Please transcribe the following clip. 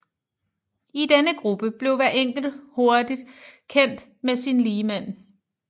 I denne gruppe blev hver enkelt hurtig kendt med sine ligemænd